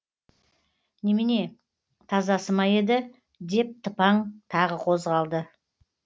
немене тазасы ма еді деп тыпаң тағы қозғалды